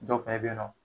Dɔw fɛnɛ be yen nɔ